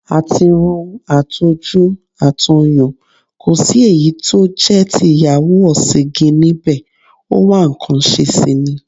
Àtirun, àtojú, àtọyàn, ko sí èyí tó jẹ́ ti ìyàwó ọ̀sìǹgìn níbẹ̀, ó wá nǹkan ṣe sì ni.